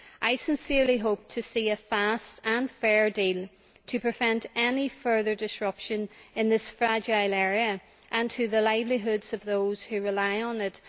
I sincerely hope to see a fast and fair deal to prevent any further disruption in this fragile area and to the livelihoods of those who rely on it.